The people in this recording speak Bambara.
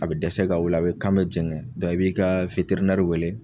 A bɛ dɛsɛ ka wuli la a bɛ kan bɛ jɛngɛn i b'i ka wele.